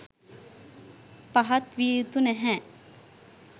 පහත් විය යුතු නැහැ.